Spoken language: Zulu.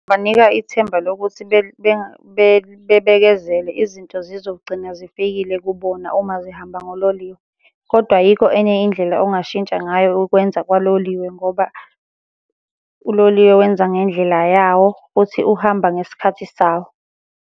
Banika ithemba lokuthi bebekezele izinto zizogcina zifikile kubona uma zihamba ngololiwe, kodwa ayikho enye indlela ongashintsha ngayo ukwenza kwaloliwe ngoba uloliwe wenza ngendlela yawo, futhi uhamba ngesikhathi sawo.